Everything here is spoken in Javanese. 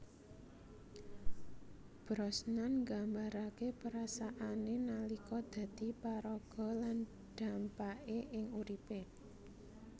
Brosnan nggambarake perasaane nalika dadi paraga lan dhampake ing uripe